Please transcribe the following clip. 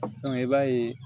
i b'a ye